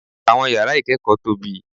Àwọn yàrá ìkẹ́kọ̀ọ́ tóbi.